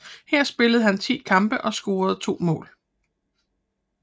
Her spillede han ti kampe og scorede to mål